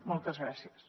moltes gràcies